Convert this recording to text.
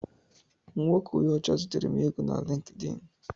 Nwoke onye ọcha zitere m ego na Lịnkdịn.